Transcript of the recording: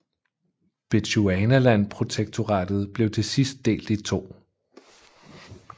Bechuanaland Protektoratet blev til sidst delt i to